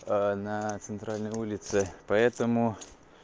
на центральной улице поэтому